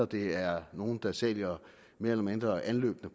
det er nogle der sælger mere eller mindre anløbne